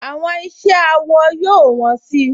Àwọn iṣẹ́ awọ yóò wọ́n si